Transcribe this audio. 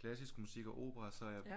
klassisk musik og opera så er jeg